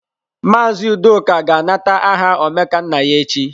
Mazị Udoka ga-anata aha Omekannaya echi.